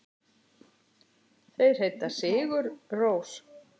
Þeir heita Sigur Rós.